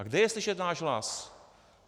A kde je slyšet náš hlas?